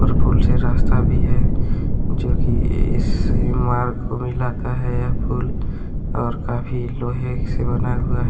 ओर पुल से रास्ता भी है जो की इस मार्ग को मिलता है यह पुल और काफी लोहे से बना हुआ है।